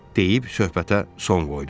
deyib söhbətə son qoydu.